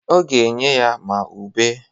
Ọ ga-enye ya ma ube.